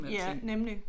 Ja nemlig